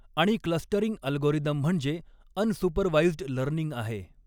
आणि clustering algorithm म्हणजे unsupervised learning आहे.